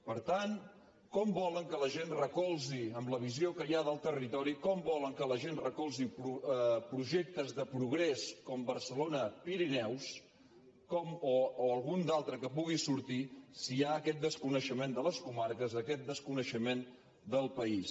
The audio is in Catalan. per tant com volen que la gent recolzi amb la visió que hi ha del territori projectes de progrés com barcelona pirineus o algun altre que pugui sortir si hi ha aquest desconeixement de les comarques aquest desconeixement del país